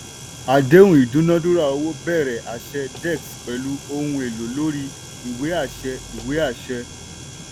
àdéhùn ìdúnádúrà owó bẹ̀rẹ̀ àṣẹ dex pẹ̀lú ohun èlò lórí ìwé àṣẹ. ìwé àṣẹ.